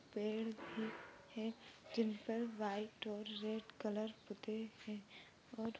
पेड़ भी है जिनपर व्हाइट और रेड कलर पुते है और--